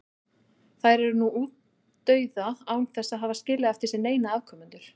Þær eru nú útdauða án þess að hafa skilið eftir sig neina afkomendur.